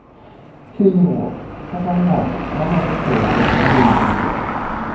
hinyruok kata ng'ol mamako chogo lumbru?